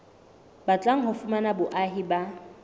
batlang ho fumana boahi ba